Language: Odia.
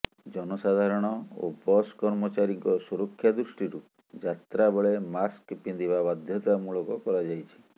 ଜନସାଧାରଣ ଓ ବସ୍ କର୍ମଚାରୀଙ୍କ ସୁରକ୍ଷା ଦୃଷ୍ଟିରୁ ଯାତ୍ରା ବେଳେ ମାସ୍କ ପିନ୍ଧିବା ବାଧ୍ୟତାମୂଳକ କରାଯାଇଛି